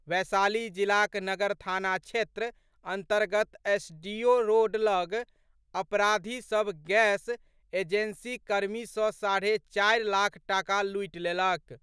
वैशाली जिलाक नगर थाना क्षेत्र अन्तर्गत एसडीओ रोड लऽग अपराधी सभ गैस एजेंसी कर्मी सँ साढ़े चारि लाख टाका लूटि लेलक।